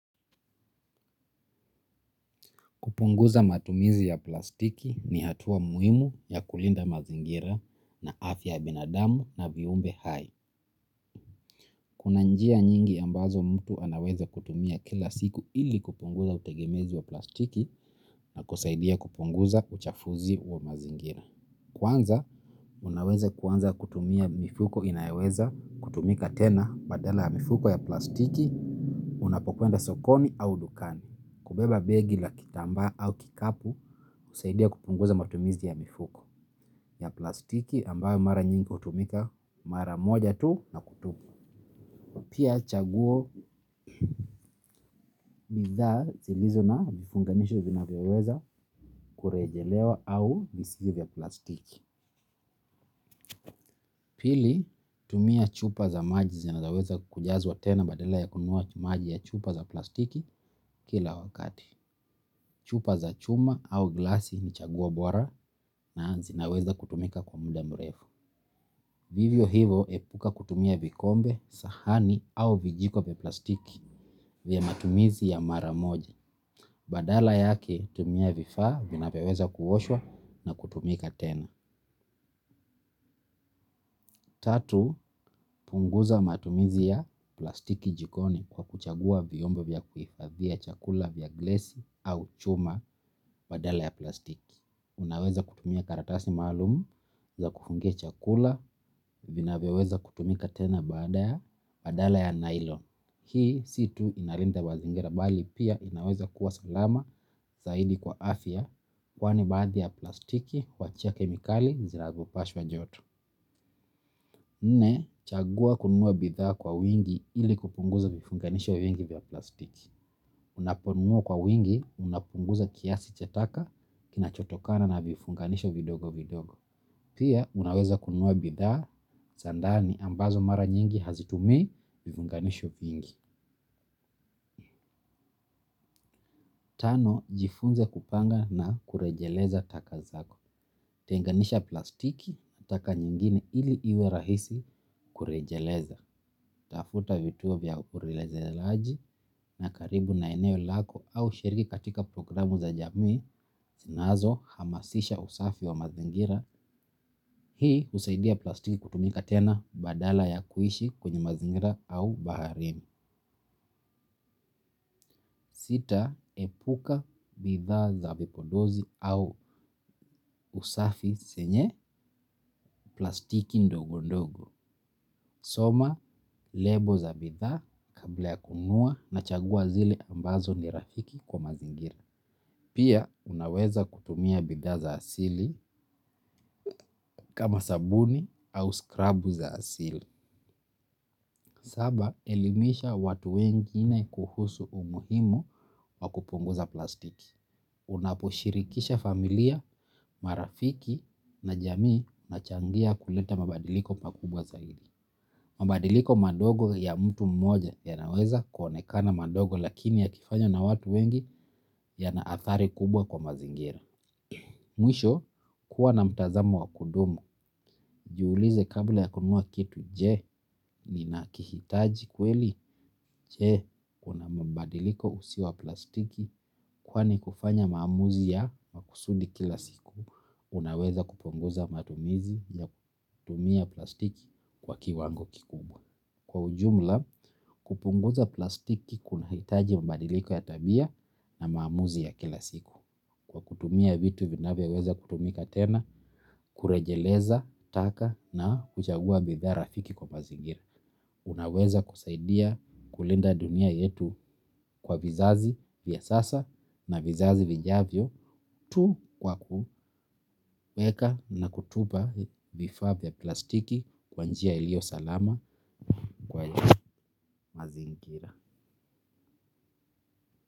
Kupunguza matumizi ya plastiki ni hatua muhimu ya kulinda mazingira na afya binadamu na viumbe hai. Kuna njia nyingi ambazo mtu anaweza kutumia kila siku ili kupunguza utegemezi wa plastiki na kusaidia kupunguza uchafuzi wa mazingira. Kwanza, unaweza kutumia mifuko inayoweza kutumika tena badala mifuko ya plastiki, unapokuenda sokoni au dukani. Kubeba begi la kitamba au kikapu kusaidia kupunguza matumizi ya mifuko ya plastiki ambayo mara nyingi utumika mara moja tu na kutupa. Chaguo ya bidhaa zilizo na vifunganisho vinavyoweza kurejelewa au si za plastiki. Pili, tumia chupa za maji zinaweza kujazwa tena badala ya kunuwa maji ya chupa za plastiki kila wakati. Chupa za chuma au glasi ni chaguo bora na zinaweza kutumika kwa muda mrefu. Vivyo hivo epuka kutumia vikombe, sahani au vijiko vya plastiki vya matumizi ya maramoji. Badala yake tumia vifaa vinavyoweza kuwoshwa na kutumika tena. Tatu punguza matumiza ya plastiki jikoni kwa kuchagua vyombo vya kuifadhia chakula vya glsi au chuma badala ya plastiki. Unaweza kutumia karatasi maalumu za kufungia chakula vinavyoweza kutumika tena badaya badala ya nylon. Hii si tu inalinda wazingera bali pia inaweza kuwa salama zaidi kwa afya kwani baadhi ya plastiki kwa chia kemikali zirazopashwa joto. Nne, chagua kuninua bidhaa kwa wingi ili kupunguza vifunganisho vingi vya plastiki. Unaponunua kwa wingi unapunguza kiasi cha taka kinachotokana na vifunganisho vidogo vidogo. Pia, unaweza kununua bidhaa za ndani ambazo mara nyingi hazitumii vifunganisho vingi. Tano, jifunze kupanga na kurejeleza taka zako. Tenganisha plastiki taka nyingine ili iwe rahisi kurejeleza. Tafuta vituo vya ureleje laji na karibu na eneo lako au shiriki katika programu za jamii. Sinazo, hamasisha usafi wa mazingira. Hii usaidia plastiki kutumika tena badala ya kuishi kwenye mazingira au baharini. Sita, epuka bidhaa za vipodozi au usafi senye plastiki ndogo ndogo. Soma, lable za bidha kabla ya kununua na chagua zile ambazo ni rafiki kwa mazingira. Pia, unaweza kutumia bidhaa za asili kama sabuni au scrub za asili. Saba elimisha watu wengine kuhusu umuhimu wa kupunguza plastiki. Unapo shirikisha familia, marafiki na jamii nachangia kuleta mabadiliko pakubwa zaidi. Mabadiliko madogo ya mtu mmoja yanaweza kuonekana madogo lakini ya kifanywa na watu wengi ya na athari kubwa kwa mazingira. Mwisho kuwa na mtazamo wa kudumu. Juulize kabla ya kununua kitu je nina kihitaji kweli je una mabadiliko usiwa plastiki kwani kufanya maamuzi ya makusudi kila siku unaweza kupunguza matumizi ya kutumia plastiki kwa kiwango kikubwa kupunguza plastiki kuna hitaji mabadiliko ya tabia na maamuzi ya kila siku. Kwa kutumia vitu vinavyoweza kutumika tena, kurejeleza, taka na kuchagua bidha rafiki kwa mazingira. Unaweza kusaidia kulinda dunia yetu kwa vizazi vya sasa na vizazi vijavyo. Tu kwa kuweka na kutupa vifaa vya plastiki kwa njia ilio salama kwa mazingira.